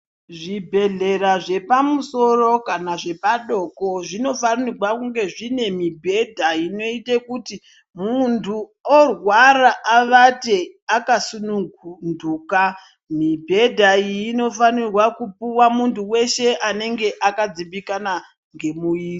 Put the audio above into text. Zvibhedhlera zvepamusoro kana zvepadoko zvinofanigwa kunge zvine mibhedha inoite kuti muntu orwara avate akasununduka. Mibhedha iyi inofanirwa kupuwa muntu weshe anenga akadzimbikana ngemuiri.